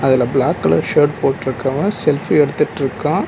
அதுல black colour shirt போட்ருக்கவ selfie எடுத்துட்ருக்கா